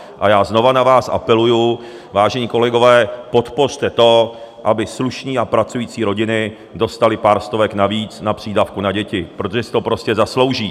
A já znova na vás apeluji: Vážení kolegové, podpořte to, aby slušné a pracující rodiny dostaly pár stovek navíc na přídavku na děti, protože si to prostě zaslouží!